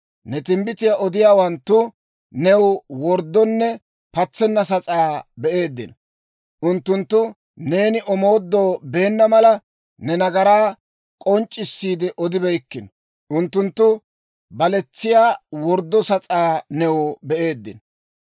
Ne timbbitiyaa odiyaawanttu new worddonne patsenna sas'aa be'eeddino; unttunttu neeni omoodoo beenna mala, ne nagaraa k'onc'c'issiide odibeykkino. Unttunttu baletsiyaa worddo sas'aa new be'eeddino.